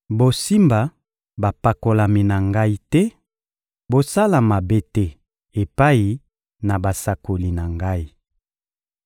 «Bosimba bapakolami na Ngai te, bosala mabe te epai na basakoli na Ngai.»